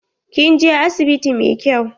Kin je asibiti mai kyau?